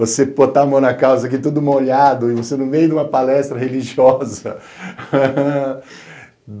Você botar a mão na calça aqui tudo molhado e você no meio de uma palestra religiosa.